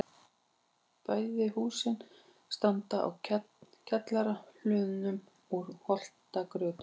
Bæði húsin standa á kjallara hlöðnum úr holtagrjóti.